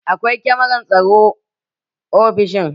Akwai kamaran tsaro ofishin